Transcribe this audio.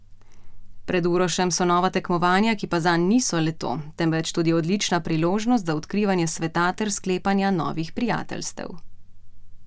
Pred Urošem so nova tekmovanja, ki pa zanj niso le to, temveč tudi odlična priložnost za odkrivanje sveta ter sklepanja novih prijateljstev.